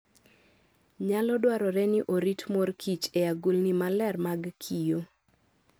Nyalo dwarore ni orit mor kich e agulini maler mag kioo.